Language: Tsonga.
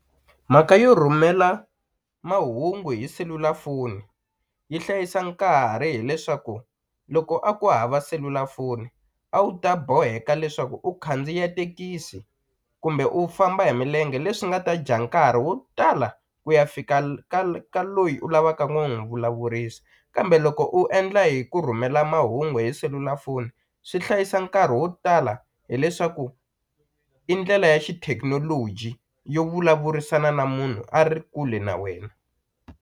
Mhaka yo rhumela mahungu hi selulafoni yi hlayisa nkarhi hileswaku loko a ku hava selulafoni a wu ta boheka leswaku u khandziya tekisi kumbe u famba hi milenge leswi nga ta dya nkarhi wo tala ku ya fika ka loyi u lavaka n'wi vulavurisa kambe loko u endla hi ku rhumela mahungu hi selulafoni swi hlayisa nkarhi wo tala hileswaku i ndlela ya xithekinoloji yo vulavurisana na munhu a ri kule na wena.